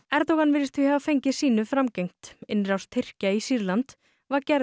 Erdogan virðist því hafa fengið sínu framgengt innrás Tyrkja í Sýrland var gerð